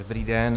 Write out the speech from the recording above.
Dobrý den.